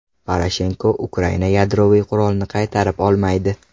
Poroshenko: Ukraina yadroviy qurolni qaytarib olmaydi.